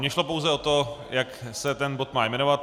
Mně šlo pouze o to, jak se ten bod má jmenovat.